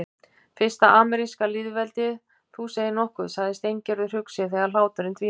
Fyrsta ameríska lýðveldið, þú segir nokkuð sagði Steingerður hugsi þegar hláturinn dvínaði.